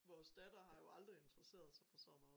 Vores datter har jo aldrig interesseret sig for sådan noget